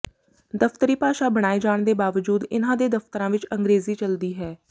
ਦਫਤਰੀ ਭਾਸ਼ਾ ਬਣਾਏ ਜਾਣ ਦੇ ਬਾਵਜੂਦ ਇਨ੍ਹਾਂ ਦੇ ਦਫਤਰਾਂ ਵਿਚ ਅੰਗਰੇਜ਼ੀ ਚਲਦੀ ਹੈ